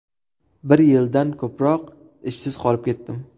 Bir yildan ko‘proq ishsiz qolib ketdim.